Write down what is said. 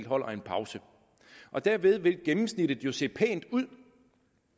holder en pause derved vil gennemsnittet jo se pænt ud